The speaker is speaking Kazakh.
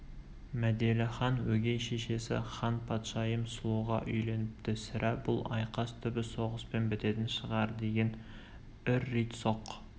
мәделіхан өгей шешесі ханпадшайым сұлуға үйленіпті сірә бұл айқас түбі соғыспен бітетін шығар деген үр-рит соқ